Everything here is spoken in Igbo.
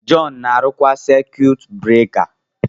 John na-arụkwa saikwutu bureka